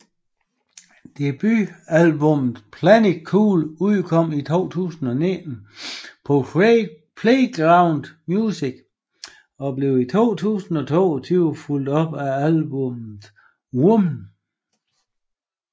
Debutalbummet Planet Cool udkom i 2019 på Playground Music og blev i 2022 fulgt op af albummet Woman